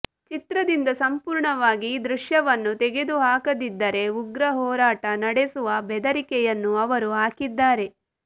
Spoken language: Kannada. ಚಿತ್ರದಿಂದ ಸಂಪೂರ್ಣವಾಗಿ ಈ ದೃಶ್ಯವನ್ನು ತೆಗೆದುಹಾಕದಿದ್ದರೆ ಉಗ್ರ ಹೋರಾಟ ನಡೆಸುವ ಬೆದರಿಕೆಯನ್ನೂ ಅವರು ಹಾಕಿದ್ದಾರೆ